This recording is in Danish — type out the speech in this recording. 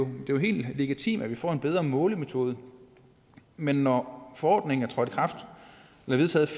er jo helt legitimt at vi får en bedre målemetode men når forordningen blev vedtaget